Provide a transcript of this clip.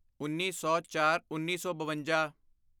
ਉੱਨੀ ਸੌਚਾਰਉੱਨੀ ਸੌ ਬਵੰਜਾ